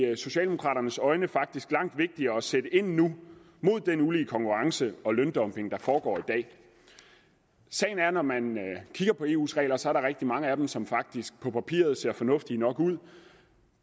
socialdemokraternes øjne faktisk langt vigtigere at sætte ind nu mod den ulige konkurrence og løndumping der foregår i dag sagen er at når man kigger på eus regler så er der rigtig mange af dem som faktisk på papiret ser fornuftige nok ud